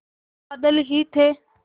बादल ही थे